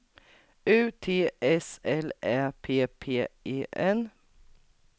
U T S L Ä P P E N